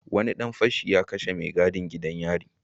Wani dan fashi ya kashe mai gadin gidan yari